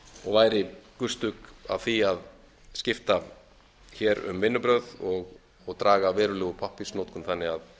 og væri gustuk af því að skipta hér um vinnubrögð og draga verulega úr pappírsnotkun þannig að